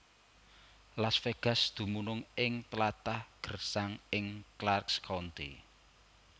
Las Vegas dumunung ing tlatah gersang ing Clark County